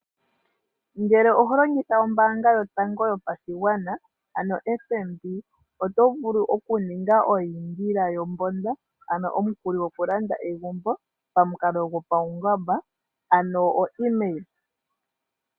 Ngele oho longitha ombaanga yotango yopashigwana ano FNB oto vulu okuninga eyindila yombomba ano omukuli gokulanda egumbo pamukalo go pawungomba ank oemail.